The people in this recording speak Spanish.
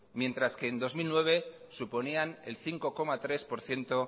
mientras que en dos mil nueve suponían el cinco coma tres por ciento